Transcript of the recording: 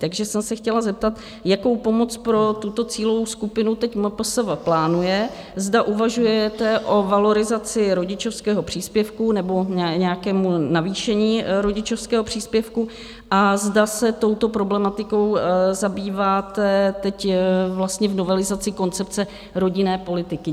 Takže jsem se chtěla zeptat, jakou pomoc pro tuto cílovou skupinu teď MPSV plánuje, zda uvažujete o valorizaci rodičovského příspěvku nebo nějakém navýšení rodičovského příspěvku a zda se touto problematikou zabýváte teď vlastně v novelizaci koncepce rodinné politiky.